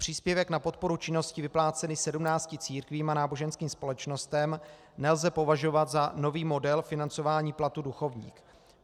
Příspěvek na podporu činnosti vyplácený 17 církvím a náboženským společnostem nelze považovat za nový model financování platu duchovních.